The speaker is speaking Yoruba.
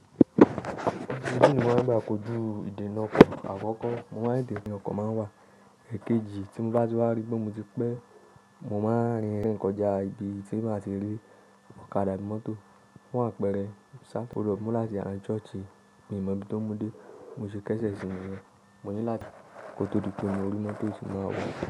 Níbi tí mo máa ń gba kojú ìdènà ọkọ̀ àkọ́kọ́, mo máa ń dè ní ọkọ̀ máa ń wà. Ẹ̀kejì tí mo bá ti wá rí pé mo ti pé, mo máa rìn rìn kọjá ibi tí mo ti rí ọ̀kadà mọ́tò fún àpẹẹrẹ Saturday. O lọ́ mú láti ara churchi, mi ò mọ ibi tó mú dé. Mo ṣe kẹ́sẹ̀ sínu rẹ̀. Mo ní láti kó tó di pé mo rí mọ́tò èṣì máa wọ̀.